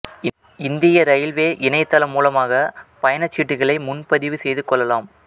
இந்திய இரயில்வே இணையதளம் மூலமாக பயணச்சீட்டுகளை முன்பதிவு செய்து கொள்ளலாம்